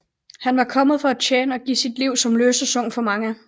Han var kommet for at tjene og give sit liv som løsesum for mange